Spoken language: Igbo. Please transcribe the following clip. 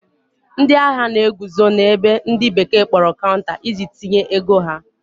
ndị ahịa na-eguzo na-ebe ndi bekee kporo counter, iji tinye ego ha